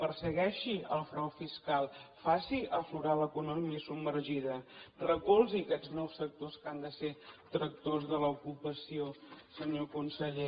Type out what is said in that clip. persegueixi el frau fiscal faci aflorar l’economia submergida recolzi aquests nous sectors que han de ser tractors de l’ocupació senyor conseller